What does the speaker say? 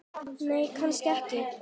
Nei, kannski ekki.